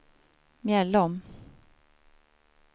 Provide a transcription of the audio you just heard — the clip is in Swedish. Mjällom